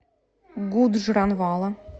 гуджранвала